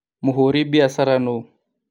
Mũhũri biacara nũũ?